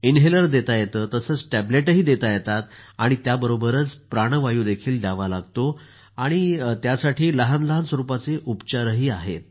inhaler देता येतं तसंच टॅबलेटही देता येतात आणि त्याबरोबरच प्राणवायु द्यावा लागतो आणि त्यासाठी लहान लहान स्वरूपाचे उपचार आहेत